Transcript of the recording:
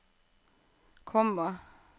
komma